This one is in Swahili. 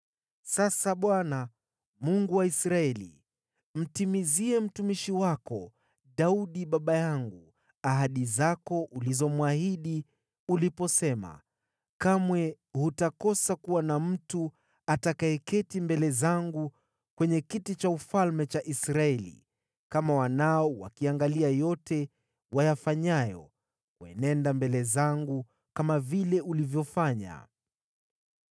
“Sasa Bwana , Mungu wa Israeli, mtimizie mtumishi wako Daudi baba yangu ahadi zako ulizomwahidi uliposema, ‘Kamwe hutakosa kuwa na mtu atakayeketi mbele zangu kwenye kiti cha ufalme cha Israeli, kama wanao wakiangalia yote wayafanyayo kuenenda mbele zangu kama vile ulivyofanya.’